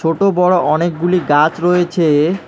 ছোট বড় অনেকগুলি গাছ রয়েছে।